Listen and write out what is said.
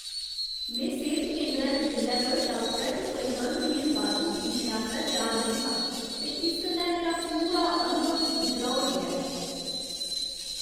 में सेह्त केंदरै दे बिल्लै पर डाक्टरै ते परिवहन दियें बाद्धू फीसें आस्तै त्यार नेईं हा ते इस कन्नै मेरा पूरा अनुभव किरकिरा होई गेआ ऐ।